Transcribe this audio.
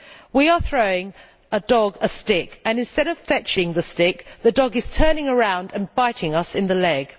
We are throwing a dog a stick and instead of fetching the stick the dog is turning around and biting us in the leg.